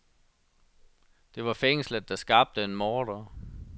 Det var fængslet, der skabte en morder.